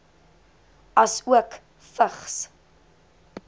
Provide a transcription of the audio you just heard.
asook vigs